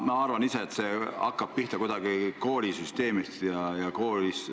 Ma arvan ise, et see hakkab pihta koolisüsteemist, koolis sportimisest.